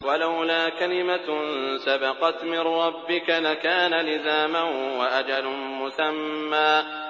وَلَوْلَا كَلِمَةٌ سَبَقَتْ مِن رَّبِّكَ لَكَانَ لِزَامًا وَأَجَلٌ مُّسَمًّى